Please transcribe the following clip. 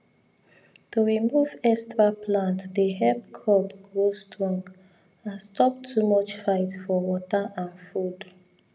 to remove extra plant dey help crop grow strong and stop too much fight for water and food